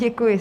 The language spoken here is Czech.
Děkuji.